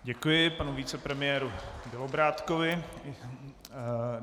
Děkuji panu vicepremiérovi Bělobrádkovi.